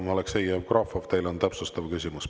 Ja Aleksei Jevgrafov, teil on täpsustav küsimus.